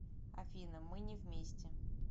афина мы не вместе